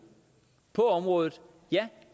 på området ja